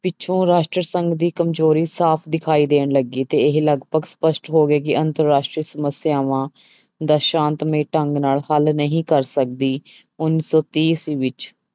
ਪਿੱਛੋਂ ਰਾਸ਼ਟਰੀ ਸੰਘ ਦੀ ਕਮਜ਼ੋਰੀ ਸਾਫ਼ ਦਿਖਾਈ ਦੇਣ ਲੱਗੀ ਤੇ ਇਹ ਲਗਪਗ ਸਪਸ਼ਟ ਹੋ ਗਿਆ ਕਿ ਅੰਤਰ ਰਾਸ਼ਟਰੀ ਸਮੱਸਿਆਵਾਂ ਦਾ ਸ਼ਾਂਤਮਈ ਢੰਗ ਨਾਲ ਹੱਲ ਨਹੀਂ ਕਰ ਸਕਦੀ, ਉੱਨੀ ਸੌ ਤੀਹ ਈਸਵੀ ਵਿੱਚ